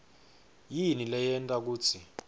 yini leyenta kutsi